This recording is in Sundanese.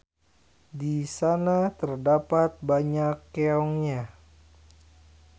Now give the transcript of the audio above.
Di sana terdapat banyak keongnya.